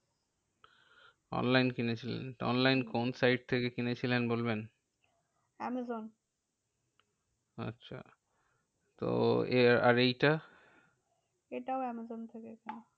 Online কিনেছিলেন। online কোন site থেকে কিনেছিলেন বলবেন? আমাজন আচ্ছা তো এর আর এইটা? এটাও আমাজন থেকে কিনে